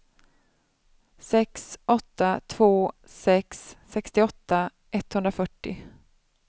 sex åtta två sex sextioåtta etthundrafyrtio